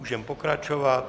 Můžeme pokračovat.